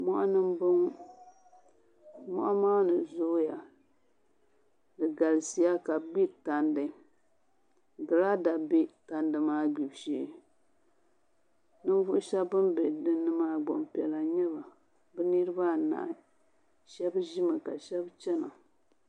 Moɣani n boŋo moɣa maa mii zooya di galisiya ka bi gbiri tandi giraada bɛ tandi maa gbibu shee ninvuɣu shab bin bɛ dinni maa gbaŋ piɛla n nyɛba bi nirabaanahi shab ʒimi ka shab chɛna